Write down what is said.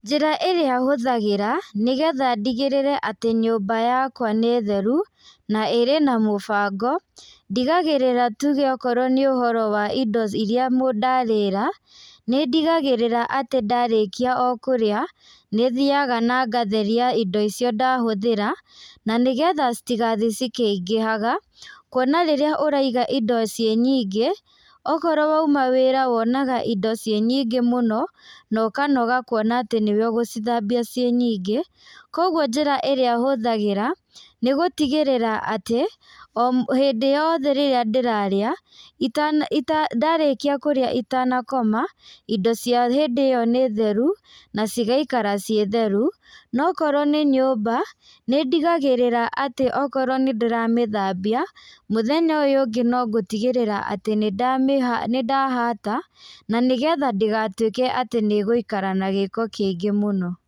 Njĩra ĩrĩa hũthagĩra, nĩgetha ndigĩrĩre atĩ nyũmba yakwa nĩ theru, na ĩrĩ na mũbango, ndigagĩrĩra atĩ rĩu okorwo nĩ ũhoro wa indo iria mũ ndarĩra, nĩndigagĩrĩra atĩ ndarĩkia o kũrĩa, nĩ thiaga na ngatheria indo icio ndahũthĩra, na nĩgetha citigathiĩ cikĩingĩhaga, kuona rĩrĩa ũraiga indo ciĩ nyingĩ, okorwo wauma wĩra wonaga indo ciĩ nyingĩ mũno, nokanoga kuona atĩ nĩwe ũgũcithambia ciĩ nyingĩ, koguo njĩra ĩrĩa hũthagĩra, nĩgũtigĩrĩra atĩ o hĩndĩ yothe rĩrĩa ndĩrarĩa, itana ita ndarĩkia kũrĩa itana koma, indo cia hĩndĩ ĩyo nĩ theru, na cigaikara ciĩ theru, nokorwo nĩ nyũmba, nĩndigagĩrĩra akorwo nĩndĩramĩthambia, mũthenya ũyũ ũngĩ nongũtigĩrĩra atĩ nĩndamĩ nĩndahata, na nĩgetha ndĩgatwĩke atĩ nĩgũikara na gĩko kĩingĩ mũno.